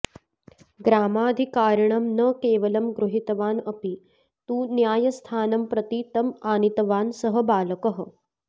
ग्रामाधिकारिणं न केवलं गृहीतवान् अपि तु न्यायस्थानं प्रति तम् आनीतवान् सः बालकः